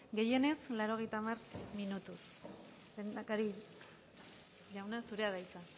gehienez laurogeita hamar minutuz lehendakari jauna zurea da hitza